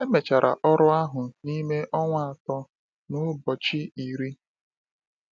Emechara ọrụ ahụ n’ime ọnwa atọ na ụbọchị iri.